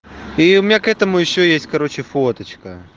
и у меня к этому ещё есть короче фоточка